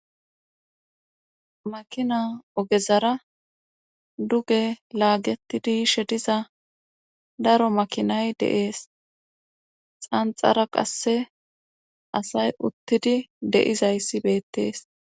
makina ogezara duge laagetidi shediza daro makinay deees xanxara qasse asay uttidi deizayssi beettees